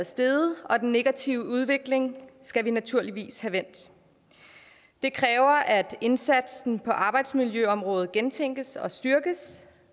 steget og den negative udvikling skal vi naturligvis have vendt det kræver at indsatsen på arbejdsmiljøområdet gentænkes og styrkes